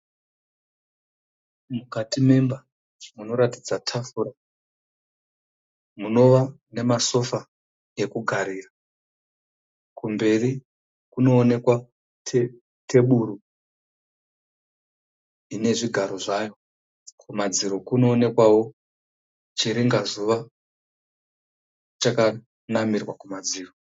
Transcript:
Mukati memba munoratidza tafura munova nemasofa ekugarira, kumberi kunoonekwa teburu ine zvigaro zvayo. kumadziro kunoonekwawo chiringazuva chakanamirwa kumadziro